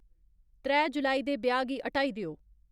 त्रै जुलाई दे ब्याह् गी हटाई देओ